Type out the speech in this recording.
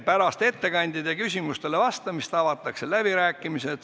Pärast ettekandeid ja küsimustele vastamist avatakse läbirääkimised.